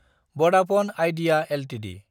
भदाफने आइडिइए एलटिडि